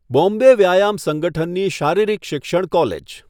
બોમ્બે વ્યાયામ સંગઠનની શારીરિક શિક્ષણ કોલેજ.